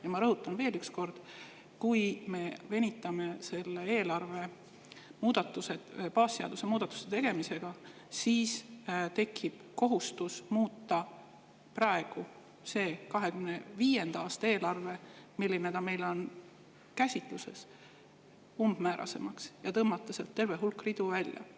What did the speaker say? Ja ma rõhutan veel üks kord: kui me venitame selle eelarve baasseaduse muudatuste tegemisega, siis tekib kohustus muuta praegu see 2025. aasta eelarve – selline, nagu see praegu meie käsitluses on – umbmäärasemaks ja tõmmata sealt terve hulk ridu välja.